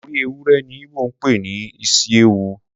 Orí ewúrẹ ni Igbo ń pè ní isi ewu.